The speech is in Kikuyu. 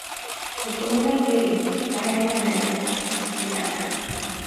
ikũmi na igĩri nganyania na ĩnya nĩ cigana